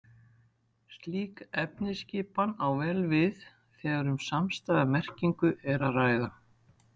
Slík efnisskipan á vel við þegar um samstæða merkingu er að ræða.